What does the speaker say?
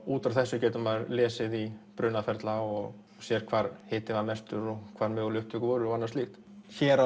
út frá þessu getur maður lesið í brunaferla og séð hvar hitinn var mestur og hvar möguleg upptök voru og slíkt hér